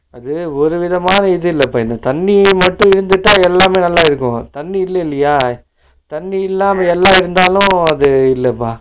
அது ஒருவிதமான இது இல்லப்பா இது இந்த தண்ணி மட்டும் இருந்துட்ட எல்லாமே நல்லா இருக்கும் தண்ணி இல்லைலயா, தண்ணி இல்லாம எல்லா இருந்தாலும் அது இல்லப்பா